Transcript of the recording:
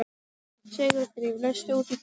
Sigurdríf, læstu útidyrunum.